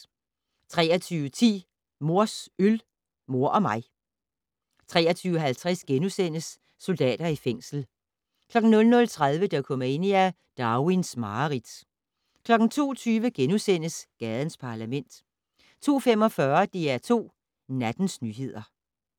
23:10: Mors øl, mor og mig 23:50: Soldater i fængsel * 00:30: Dokumania: Darwins mareridt 02:20: Gadens Parlament * 02:45: DR2 Nattens nyheder